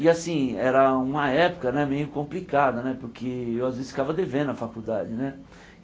E assim, era uma época né meio complicada né, porque eu às vezes ficava devendo à faculdade né.